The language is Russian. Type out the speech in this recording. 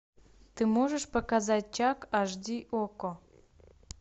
ты можешь показать чак аш ди окко